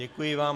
Děkuji vám.